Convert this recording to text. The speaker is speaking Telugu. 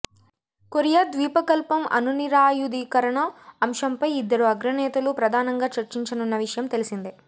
కొరియా ద్వీపకల్పం అణునిరాయుధీకరణ అంశంపై ఇద్దరు అగ్రనేతలు ప్రధానంగా చర్చించనున్న విషయం తెలిసిందే